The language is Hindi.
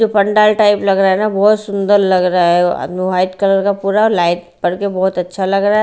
ये पंडाल टाइप लग रहा है ना बहुत सुंदर लग रहा है वाइट कलर का पूरा और लाइट पड़ के बहुत अच्छा लग रहा है।